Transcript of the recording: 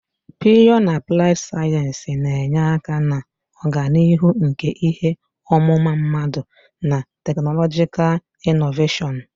Pịyọ na apụlaid sayensị na-enye aka na ọganihu nke ihe ọmụma mmadụ na teknọlọjikal inọveshọn.